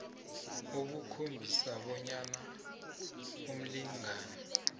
obukhombisa bonyana umlingani